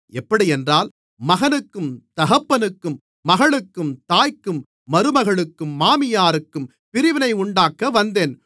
எப்படியென்றால் மகனுக்கும் தகப்பனுக்கும் மகளுக்கும் தாய்க்கும் மருமகளுக்கும் மாமியாருக்கும் பிரிவினையுண்டாக்க வந்தேன்